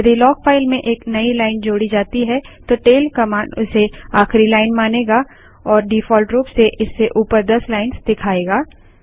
यदि log file में एक नई लाइन जोड़ी जाती है तो टैल कमांड उसे आखिरी लाइन मानेगा और डिफॉल्ट रूप से इससे ऊपर दस लाइन्स दिखाएगा